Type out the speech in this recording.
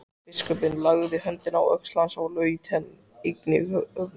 Biskupinn lagði höndina á öxl hans og laut einnig höfði.